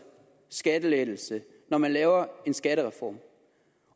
skattelettelse når man laver en skattereform